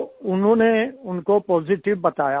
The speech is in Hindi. तो उन्होंने उनको पॉजिटिव बताया